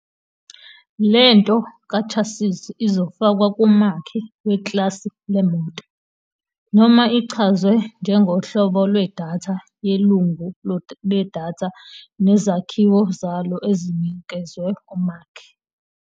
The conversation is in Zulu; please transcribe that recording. Le nto kaChassis izofakwa kumakhi weklasi leMoto, noma ichazwe njengohlobo lwedatha yelungu ledatha nezakhiwo zalo ezinikezwe umakhi.